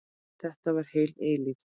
Þetta var heil eilífð.